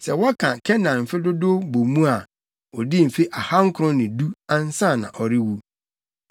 Sɛ wɔka Kenan mfe dodow bɔ mu a, odii mfe ahankron ne du, ansa na ɔrewu.